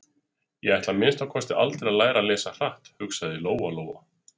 Ég ætla að minnsta kosti aldrei að læra að lesa hratt, hugsaði Lóa-Lóa.